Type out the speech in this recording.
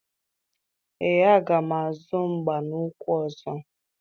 Ee, aga m azụ mgba n'ukwu ọzọ.